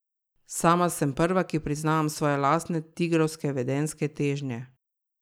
Sama sem prva, ki priznavam svoje lastne tigrovske vedenjske težnje.